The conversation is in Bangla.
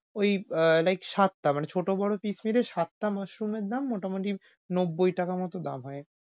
ঐ like সাতটা, মানে ছোট বড় piece মিলিয়ে সাতটা mushroom এর দাম মোটামুটি নব্বই টাকা মতো দাম হয়।